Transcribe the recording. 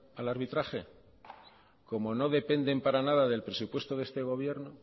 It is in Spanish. al arbitraje como no dependen para nada del presupuesto de este gobierno